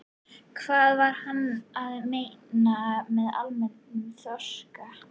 Hvað var hann að meina með almennum þroska?